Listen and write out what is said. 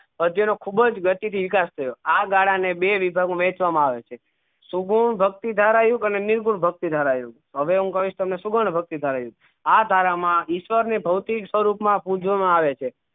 અધ્ય નું ખુબજ વ્યક્તિ થી વિકાસ થયો આ ગાળા માં બે વિભાગ માં વેચવા માં આવે છે સગુણ ભક્તિ ધારા એવું અને નિર્ગુણ ભક્તિ ધારા આવ્યું હવે હું કહીસ તમને સુગન ભક્તિ ધારા આ ધારા મા ઈશ્વર ને ભોતિક સ્વરૂપ મા પૂજવા માં આવે છે